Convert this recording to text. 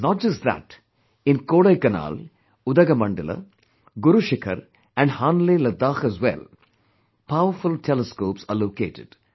Not just that, in Kodaikkaanal, Udagamandala, Guru Shikhar and Hanle Ladakh as well, powerful telescopes are located